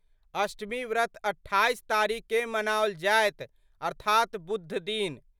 अष्टमी व्रत 28 तारीख केर मनाओल जायत अर्थात बुध दिन।